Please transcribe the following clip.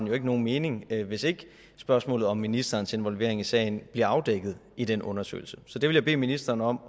jo ikke nogen mening hvis ikke spørgsmålet om ministerens involvering i sagen bliver afdækket i den undersøgelse så det vil jeg bede ministeren om